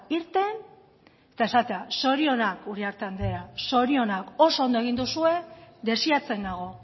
irten eta esatea zorionak uriarte andrea zorionak oso ondo egin duzue desiatzen nago